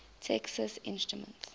texas instruments